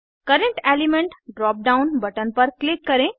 current element drop down button पर click करें